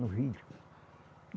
No rio